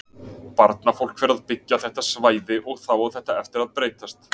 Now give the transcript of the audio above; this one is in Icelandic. Barnafólk fer að byggja þetta svæði og þá á þetta eftir að breytast.